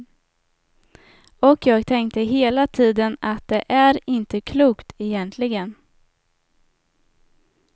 Och jag tänkte hela tiden att det är inte klokt, egentligen.